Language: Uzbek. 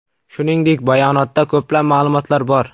Shuningdek, bayonotda ko‘plab ma’lumotlar bor.